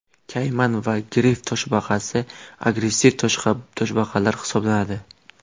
Kayman va grif toshbaqasi agressiv toshbaqalar hisoblanadi.